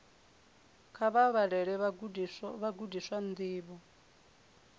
kha vha vhalele vhagudiswa ndivho